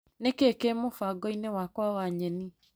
Nĩkĩĩ kĩ mũbango-inĩ wakwa wa nyeni.